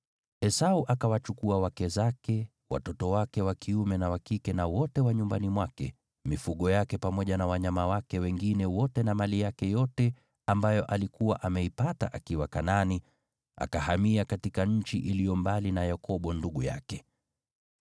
Esau akawachukua wake zake, watoto wake wa kiume na wa kike na wote wa nyumbani mwake, mifugo yake pamoja na wanyama wake wengine wote na mali yake yote ambayo alikuwa ameipata akiwa Kanaani, akahamia katika nchi iliyo mbali na Yakobo ndugu yake.